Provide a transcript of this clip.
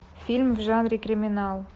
фильм в жанре криминал